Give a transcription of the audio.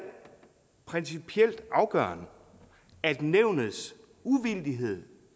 principielt afgørende at nævnets uvildighed